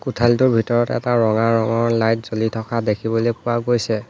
কোঠালিটোৰ ভিতৰত এটা ৰঙা ৰঙৰ লাইট জ্বলি থকা দেখিবলৈ পোৱা গৈছে।